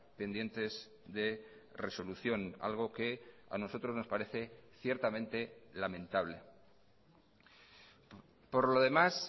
pendientes de resolución algo que a nosotros nos parece ciertamente lamentable por lo demás